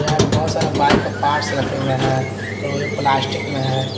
यहां पे बहोत सारे बाइक का पार्ट्स रखे हुए हैं जो भी प्लास्टिक में है।